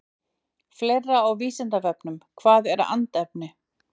Fleira á Vísindavefnum Hvað er andefni?